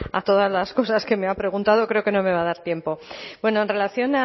a todas las cosas que me ha preguntado creo que no me va a dar tiempo bueno en relación